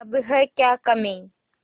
अब है क्या कमीं